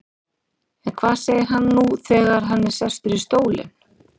En hvað segir hann nú þegar hann er sestur í stólinn?